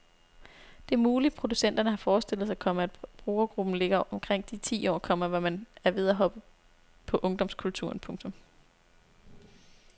Det er muligt producenterne har forestillet sig, komma at brugergruppen ligger omkring de ti år, komma hvor man er ved at hoppe på ungdomskulturen. punktum